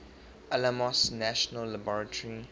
alamos national laboratory